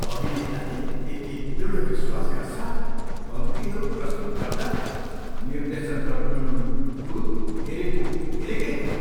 अभिनेताले त्यति दृढ विश्वासका साथ पङ्क्तिहरू प्रस्तुत गर्दा निर्देशक त टुलुटुलु हेरेको हेरेकै भए।